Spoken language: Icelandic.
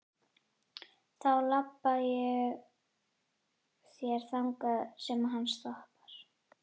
Þá labba ég með þér þangað sem hann stoppar.